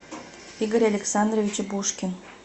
игорь александрович бушкин